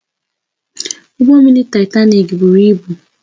Ụgbọ mmiri Taịtanik buru ibu